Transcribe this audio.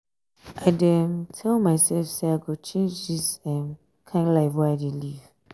i dey um tell mysef um sey i go change dis um kain life wey i dey live.